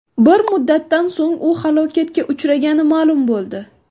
Bir muddatdan so‘ng u halokatga uchragani ma’lum bo‘ldi.